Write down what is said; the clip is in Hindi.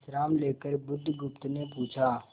विश्राम लेकर बुधगुप्त ने पूछा